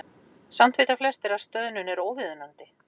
Samt vita flestir að stöðnun er óviðunandi.